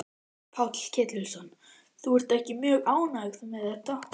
Páll Ketilsson: Þú ert ekki mjög ánægð með þetta?